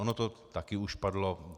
Ono to taky už padlo.